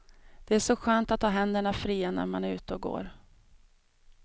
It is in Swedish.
Det är så skönt att ha händerna fria när man är ute och går.